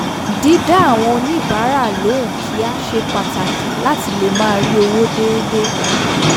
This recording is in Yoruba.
dídá àwọn oníbàárà lóhùn kíá ṣe pàtàkì láti lè máa rí owó déédéé